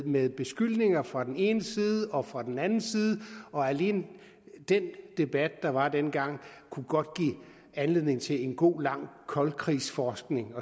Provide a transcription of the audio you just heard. med beskyldninger fra den ene side og fra den anden side og alene den debat der var dengang kunne godt give anledning til en god lang koldkrigsforskning